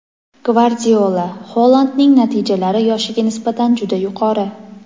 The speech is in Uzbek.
Gvardiola: Holandning natijalari yoshiga nisbatan juda yuqori.